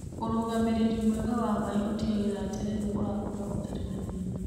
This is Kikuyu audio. Ũrũgamĩrĩri mwega wa maaĩ ũtigagĩrĩra terere ũrakũra ũtari na thina.